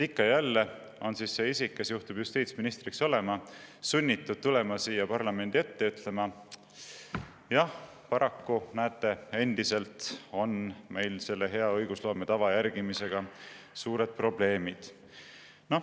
Ikka ja jälle on see isik, kes juhtub justiitsminister olema, sunnitud tulema siia parlamendi ette ja ütlema: jah, paraku, näete, endiselt on meil selle hea õigusloome tava järgimisega suured probleemid.